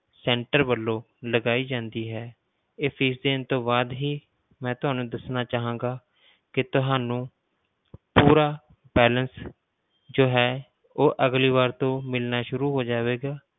Center ਵੱਲੋਂ ਲਗਾਈ ਜਾਂਦੀ ਹੈ, ਇਹ fees ਦੇਣ ਤੋਂ ਬਾਅਦ ਹੀ ਮੈਂ ਤੁਹਾਨੂੰ ਦੱਸਣਾ ਚਾਹਾਂਗਾ ਕਿ ਤੁਹਾਨੂੰ ਪੂਰਾ balance ਜੋ ਹੈ ਉਹ ਅਗਲੀ ਵਾਰ ਤੋਂ ਮਿਲਣਾ ਸ਼ੁਰੂ ਹੋ ਜਾਵੇਗਾ।